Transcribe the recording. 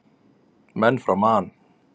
Menn frá Man.